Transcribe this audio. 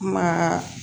Ma